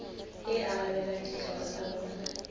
e arabelang ditlhoko tsa bona